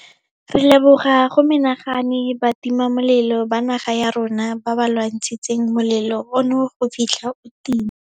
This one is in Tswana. Re leboga go menagane batimamolelo ba naga ya rona ba ba lwantshitseng molelo ono go fitlha o tima.